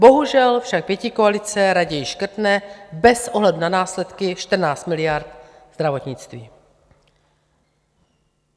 Bohužel však pětikoalice raději škrtne bez ohledu na následky 14 miliard zdravotnictví.